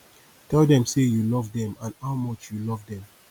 tell them sey you love them and how much you love them